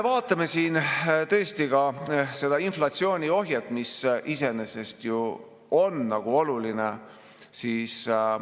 Vaatame ka seda inflatsiooni ohjet, mis iseenesest ju on oluline.